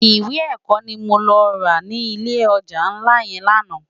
Iwé èkò ni mó lò rá ni ilé òjá nlá yèn làná